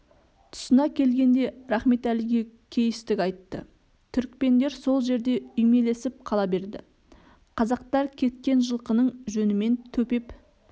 тұсына келгенде рахметәліге кейістік айтты түрікпендер сол жерде үймелесіп қала берді қазақтар кеткен жылқының жөнімен төпеп